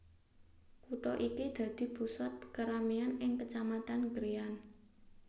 Kutha iki dadi pusat kerameyan ing Kecamatan Krian